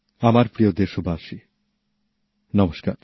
আমার প্রিয় দেশবাসী নমস্কার